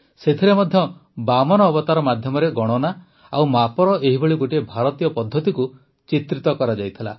ସେଥିରେ ମଧ୍ୟ ବାମନ ଅବତାର ମାଧ୍ୟମରେ ଗଣନା ଓ ମାପର ଏହିଭଳି ଗୋଟିଏ ଭାରତୀୟ ପଦ୍ଧତିକୁ ଚିତ୍ରିତ କରାଯାଇଥିଲା